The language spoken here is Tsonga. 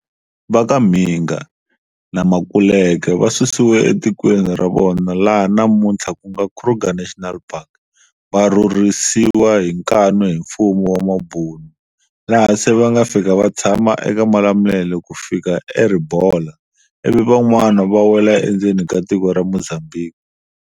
Va ka Mhinga na Makuleke va susiwe etikweni ra vona laha namunthla ku nga Kruger National Park va rhurhisiwa hi nkanu hi mfumu wa mabhunu, laha se va nga fika va tshama eka Malamulele ku fika eRibola, ivi van'wani va wela endzeni ka tiko ra Mozambique.